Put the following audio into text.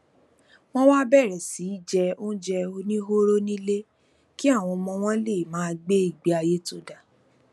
wọn wá bèrè sí í jẹ oúnjẹ oníhóró nílé kí àwọn ọmọ wọn lè máa gbé ìgbé ayé tó dáa